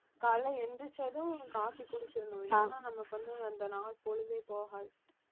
காலையிலே எந்திரிச்சதும் coffee குடிச்சிரணும் இல்லன்னா நமக்கு வந்து அந்த நாள் பொழுதே போகாது